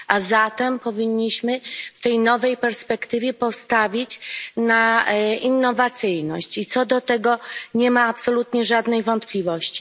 A zatem powinniśmy w tej nowej perspektywie postawić na innowacyjność, i co do tego nie ma absolutnie żadnej wątpliwości.